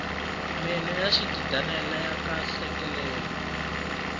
meno ya xigidana laya heleleke